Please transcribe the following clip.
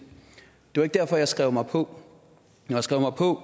var ikke derfor jeg skrev mig på når jeg skrev mig på